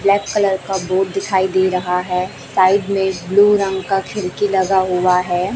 Black colour का board दिखाई दे रहा है साइड में एक ब्लू रंग का खिड़की लगा हुआ है।